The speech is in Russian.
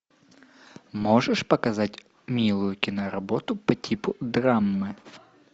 можешь показать милую киноработу по типу драмы